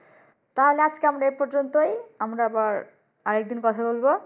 তাইলে আজকে আমরা এই পর্যন্তই আমরা আবার আরেক দিন কথা বলব